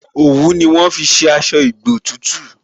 Òwú ni wọ́n fi ṣe aṣọ ìgbotútù